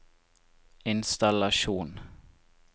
innstallasjon